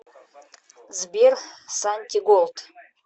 сбер сантиголд